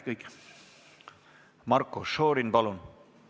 Marko Šorin, palun!